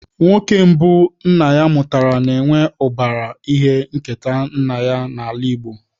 Nwoke mbụ nna ya mụtara na-enwe ụbara ihe nketa nna ya n'ala Igbo.